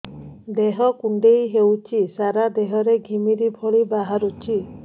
ଦେହ କୁଣ୍ଡେଇ ହେଉଛି ସାରା ଦେହ ରେ ଘିମିରି ଭଳି ବାହାରୁଛି